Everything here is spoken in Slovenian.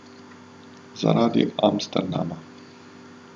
Zaradi Amsterdama.